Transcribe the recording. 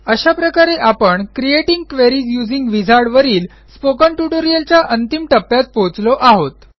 अशा प्रकारे आपण क्रिएटिंग क्वेरीज यूझिंग विझार्ड वरील स्पोकन ट्युटोरियलच्या अंतिम टप्प्यात पोहोचलो आहोत